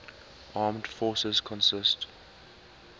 armed forces consist